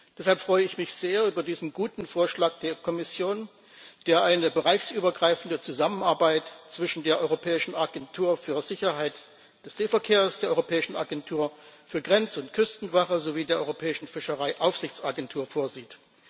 Deshalb freue ich mich sehr über diesen guten Vorschlag der Kommission, der eine bereichsübergreifende Zusammenarbeit zwischen der Europäischen Agentur für die Sicherheit des Seeverkehrs, der Europäischen Agentur für die Grenz und Küstenwache sowie der Europäischen Fischereiaufsichtsagentur vorsieht.